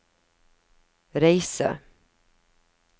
reise